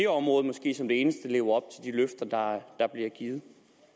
område måske som det eneste lever løfter der bliver givet